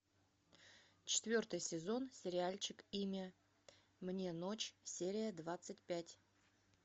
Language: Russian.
четвертый сезон сериальчик имя мне ночь серия двадцать пять